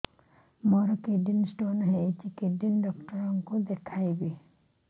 ମୋର kidney stone ହେଇଛି kidney doctor କୁ ଦେଖାଇବି